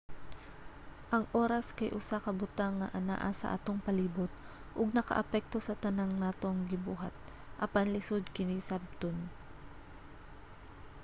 ang oras kay usa ka butang nga anaa sa atong palibot ug nakaapekto sa tanan natong ginabuhat apan lisud kini sabton